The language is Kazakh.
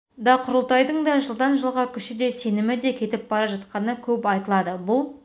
да құрылтайдың да жылдан жылға күші де сенімі де кетіп бара жатқаны көп айтылады бұл